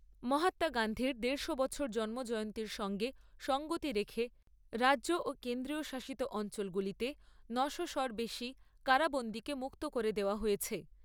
মহাত্মা গান্ধীর দেড়শ বছর জন্মজয়ন্তীর সঙ্গে সংগতি রেখে রাজ্য ও কেন্দ্রীয় শাসিত অঞ্চলগুলিতে ন'শো র বেশি কারাবন্দীকে মুক্ত করে দেওয়া হয়েছে।